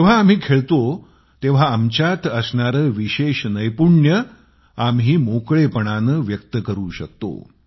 जेव्हा आम्ही खेळतो तेव्हा आमच्यात असणारे विशेष नैपुण्य जे आम्ही मोकळेपणाने व्यक्त करु शकतो